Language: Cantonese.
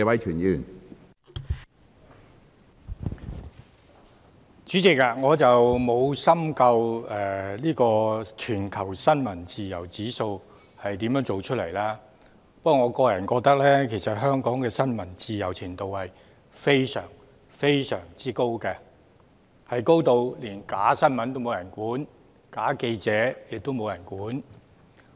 主席，我沒有深究全球新聞自由指數是如何得出來的，不過，我個人認為香港的新聞自由度非常非常高，高至連假新聞也沒人管、假記者也沒人管。